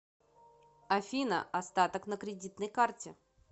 афина остаток на кредитной карте